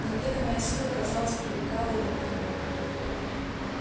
неведомая сила казалось привлекала его к нему